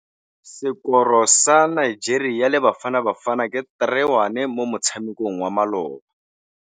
Sekôrô sa Nigeria le Bafanabafana ke 3-1 mo motshamekong wa malôba.